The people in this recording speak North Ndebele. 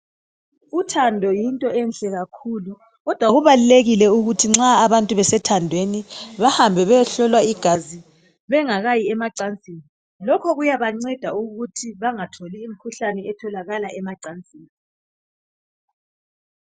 Uthando yinto enhle kakhulu kodwa kubalulekile ukuthi nxa abantu besethandweni bahambe beyehlolwa igazi bengakayi emacansini lokho kuyabanceda ukuthi bangatholi imkhuhlane etholakala emacansini.